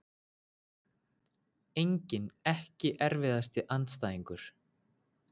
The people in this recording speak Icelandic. Engin EKKI erfiðasti andstæðingur?